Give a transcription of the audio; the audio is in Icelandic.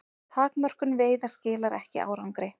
Takmörkun veiða skilar ekki árangri